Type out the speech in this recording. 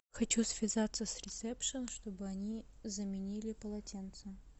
хочу связаться с ресепшеном чтобы они заменили полотенца